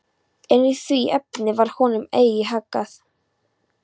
En í því efni varð honum eigi haggað.